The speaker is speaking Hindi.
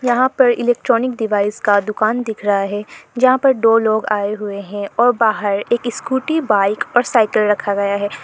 यहां पर इलेक्ट्रॉनिक डिवाइस का दुकान दिख रहा है यहां पर दो लोग आए हुए हैं और बाहर एक स्कूटी बाइक और साइकिल रखा गया है।